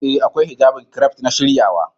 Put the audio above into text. Ee, akwai Hijjabin kiref na siryawa.